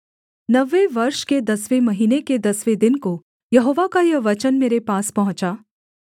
नवें वर्ष के दसवें महीने के दसवें दिन को यहोवा का यह वचन मेरे पास पहुँचा